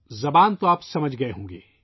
زبان تو آپ نے سمجھ گئے ہوں گے